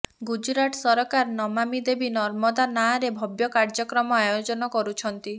ଗୁଜରାଟ ସରକାର ନମାମୀ ଦେବୀ ନର୍ମଦା ନାଁରେ ଭବ୍ୟ କାର୍ୟ୍ୟକ୍ରମ ଆୟୋଜନ କରିଛନ୍ତି